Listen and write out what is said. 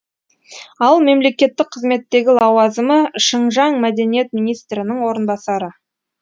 ал мемлекеттік қызметтегі лауазымы шыңжаң мәдениет министрінің орынбасары